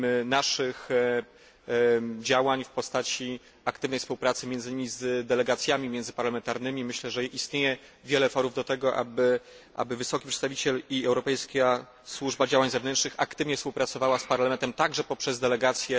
naszych działań w postaci aktywnej współpracy, między innymi, z delegacjami międzyparlamentarnymi? Myślę, że istnieje wiele forów do tego, aby wysoki przedstawiciel i Europejska Służba Działań Zewnętrznych aktywnie współpracowała z Parlamentem także poprzez delegacje.